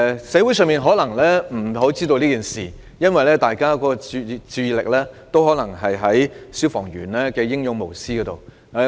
社會可能不太清楚此事，因為大家皆將注意力集中在消防員英勇無私的行為上。